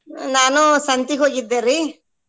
ನಾನು ಸಂತಿಗ್ ಹೋಗಿದ್ದೆರಿ.